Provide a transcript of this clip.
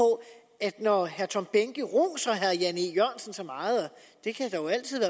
at når herre tom behnke roser herre jan e jørgensen så meget